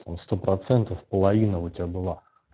там сто процентов половина у тебя была